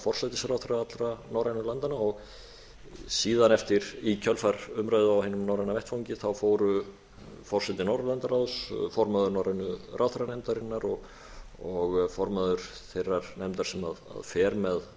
forsætisráðherra allra norrænu landanna og síðan eftir í kjölfar umræðu á hinum norræna vettvangi fóru forseti norðurlandaráðs formaður norrænu ráðherranefndarinnar og formaður þeirrar nefndar sem fer